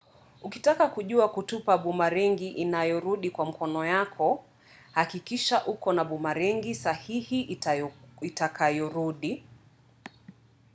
ukitaka kujua kutupa bumarengi inayorudi kwa mkono yako hakikisha uko na bumerang’i sahihi itakayorudi